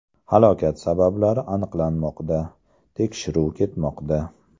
Halokat sabablari aniqlanmoqda, tekshiruv ketmoqda.